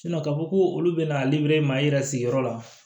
ka fɔ ko olu bɛna maa i yɛrɛ sigiyɔrɔ la